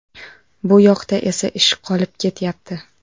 Bu yoqda esa ish qolib ketyapti”.